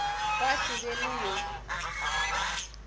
gwa se be le yo